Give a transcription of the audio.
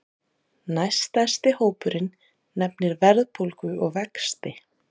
Næststærsti hópurinn nefnir verðbólgu og vexti